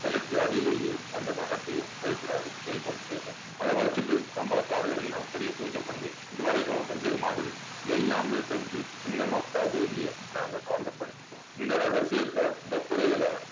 சிலைக்கு அடியிலேயே அந்த தகத்தையும் வைக்கிறாரு வேலுமணி தேவர் அத வச்சிட்டு கம்பளத்தார்கள் எல்லாம் பெரிய பூஜை பண்ணி இது வரைக்கும் செஞ்சது மாதிரி எல்லாமே செஞ்சு சின்ன மஸ்தா தேவிய நாங்க சாந்தப்படுத்திட்டோம் இந்த ரகசியத்தை இந்த குறைகளை